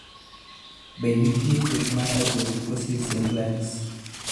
Be nitie thieth mar hypotrichosis simplex?